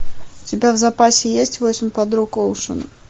у тебя в запасе есть восемь подруг оушена